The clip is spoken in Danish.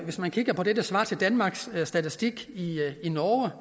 hvis man kigger på det der svarer til danmarks statistik i norge